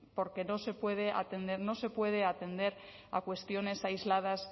porque no se puede atender no se puede atender a cuestiones aisladas